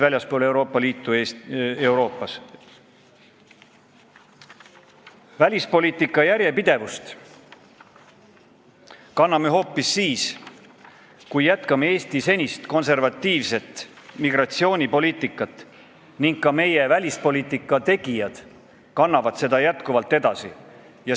Välispoliitika on järjepidev hoopis siis, kui jätkame Eesti senist konservatiivset migratsioonipoliitikat ning seda kannavad edasi ka meie välispoliitika tegijad.